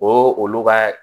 O olu ka